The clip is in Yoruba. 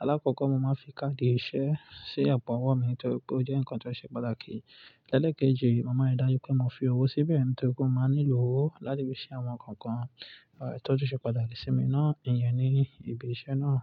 Alákọ̀ọ́kọ́, mo máa ń fi káàdì ìṣe sí àpò-ọwọ́ mi torí pé ó jẹ́ nǹkan tó ṣe pàtàkì. Lẹ́lẹ̀ kejì, mo máa ń ri dájú pé mo fi owó síbẹ̀ nítorí pé mo máa ń nílò owó láti fi sí àwọn nǹkan tó ṣe pàtàkì sí mi náà. Ìyẹn ni ìbísẹ́ náà.